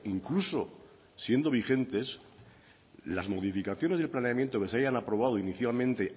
incluso siendo vigentes las modificaciones de planeamiento que se hayan aprobado inicialmente